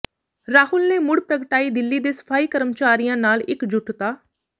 ਰਾਹੁਲ ਨੇ ਮੁਡ਼ ਪ੍ਰਗਟਾਈ ਦਿੱਲੀ ਦੇ ਸਫ਼ਾਈ ਕਰਮਚਾਰੀਆਂ ਨਾਲ ਇਕਜੁੱਟਤਾ